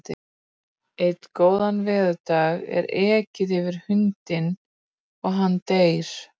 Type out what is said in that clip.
Einn góðan veðurdag er ekið yfir hundinn og hann deyr.